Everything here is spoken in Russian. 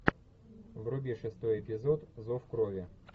вруби шестой эпизод зов крови